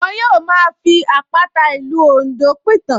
Wọ́n yóò máa fi àpàta ìlú Oǹdó pìtàn